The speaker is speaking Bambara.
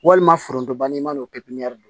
Walima foronto banni i b'a nɔ don pipiniyɛri